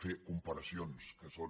fer comparacions que són